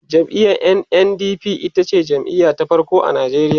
jam'iyar NNDP itace jam'iya ta farko a Nigeria